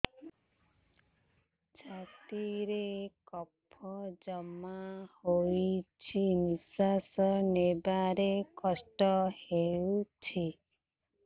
ଛାତିରେ କଫ ଜମା ହୋଇଛି ନିଶ୍ୱାସ ନେବାରେ କଷ୍ଟ ହେଉଛି